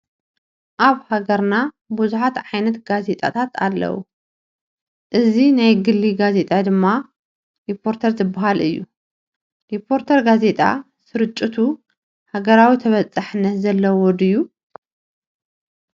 ኣብ ሃገርና ብዙሓት ዓይነት ጋዜጣታት ኣለዉ፡፡ እዚ ናይ ግሊ ጋዜጣ ድማ ሪፖርተር ዝበሃል እዩ፡፡ ሪፖርተር ጋዜጣ ስርጭቱ ሃገራዊ ተባፃሕነት ዘለዎ ድዩ?